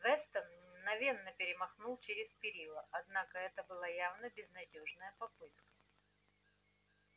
вестон мгновенно перемахнул через перила однако это была явно безнадёжная попытка